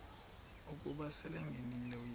ukuba selengenile uyesu